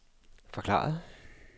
forklarede